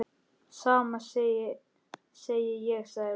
Sama segi ég sagði Lúlli.